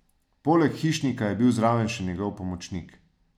Poleg hišnika je bil zraven še njegov pomočnik.